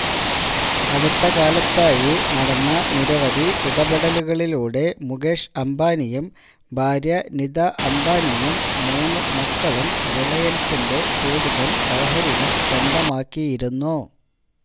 അടുത്തകാലത്തായി നടന്ന നിരവധി ഇടപെടലുകളിലൂടെ മുകേഷ് അംബാനിയും ഭാര്യ നിത അംബാനിയും മൂന്നുമക്കളും റിലയന്സിന്റെ കൂടുതല് ഓഹരികള് സ്വന്തമാക്കിയിരുന്നു